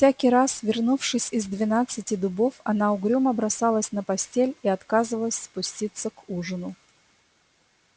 и всякий раз вернувшись из двенадцати дубов она угрюмо бросалась на постель и отказывалась спуститься к ужину